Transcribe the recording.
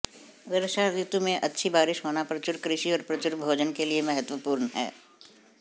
वर्षा रितु में अच्छी बारिश होना प्रचुर कृषि और प्रचुर भोजन के लिए महत्वपूर्ण है